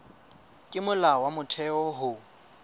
ke molao wa motheo ho